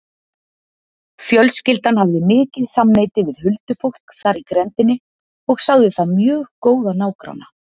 Fjölskyldan hafði mikið samneyti við huldufólk þar í grenndinni og sagði það mjög góða nágranna.